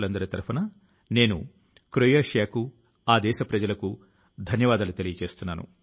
సహచరులారా నేను లఖ్ నవూ నివాసి నీలేశ్ గారి ఒక పోస్టు ను గురించి కూడా చర్చించాలి అని తలుస్తున్నాను